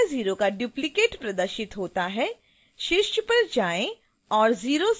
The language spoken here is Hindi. टैब 650 का डुप्लिकेट प्रदर्शित होता है